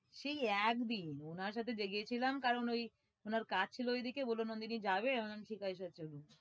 সেই একদিন ওনার সাথে যে গেছিলাম কারণ ওই ওনার কাজ ছিল ঐদিকে, বললো নন্দিনী যাবে, আমি বললাম ঠিক আছে sir যাবো।